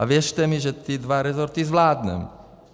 A věřte mi, že ty dva resorty zvládne.